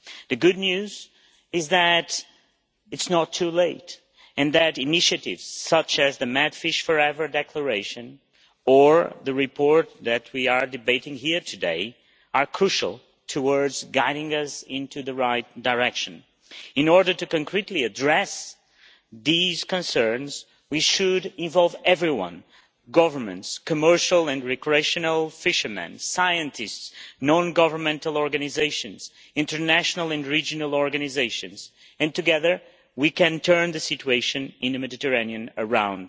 The good news is that it is not too late, and that initiatives such as the MedFish4Ever Declaration or the report that we are debating here today are crucial towards guiding us into the right direction. In order to concretely address these concerns, we should involve everyone governments, commercial and recreational fishermen, scientists, non governmental organisations and international and regional organisations, and together we can turn the situation in the Mediterranean around.